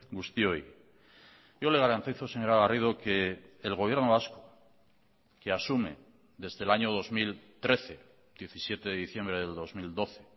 guztioi yo le garantizo señora garrido que el gobierno vasco que asume desde el año dos mil trece diecisiete de diciembre del dos mil doce